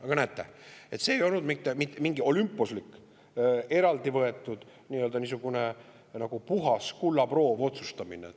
Aga näete – see ei olnud mitte mingi olümposlik, niisugune nii-öelda puhas kullaproov-otsustamine.